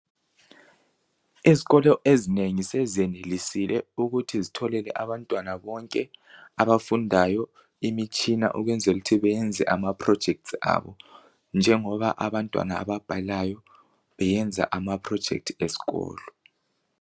Izikolo ezinengi sezenelisile ukuthi zitholele abantwana bonke abafundayo imitshina ukwenzela ukuthi beyenze ama projects abo, njengoba abantwana ababhalayo beyenza ama project esikolo .